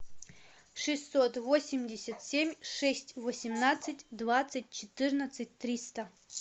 шестьсот восемьдесят семь шесть восемнадцать двадцать четырнадцать триста